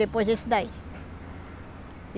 Depois esse daí.